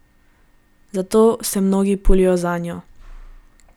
Zato se mnogi pulijo zanjo.